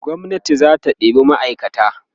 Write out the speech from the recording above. gwamnati zata ɗeba ma'aikata